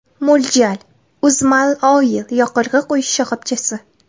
Mo‘ljal: UzMalOil yoqilg‘i quyish shoxobchasi.